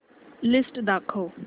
list दाखव